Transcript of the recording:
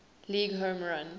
league home run